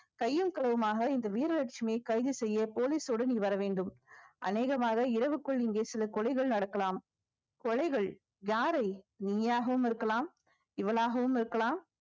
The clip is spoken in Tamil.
கையும் களவுமாக இந்த வீரலட்சுமியை கைது செய்ய police ஓட நீ வர வேண்டும் அநேகமாக இரவுக்குள் இங்கே சில கொலைகள் நடக்கலாம் கொலைகள் யாரை நீயாகவும் இருக்கலாம் இவளாகவும் இருக்கலாம்